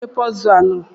Kedụ onye nwe pọzul a?